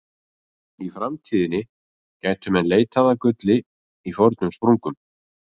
Í framtíðinni gætu menn leitað að gulli í fornum sprungum.